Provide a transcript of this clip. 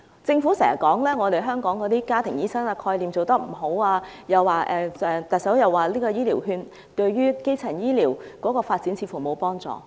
政府經常說香港家庭醫生的概念做得不好，特首又指醫療券對於基層醫療的發展似乎沒有幫助。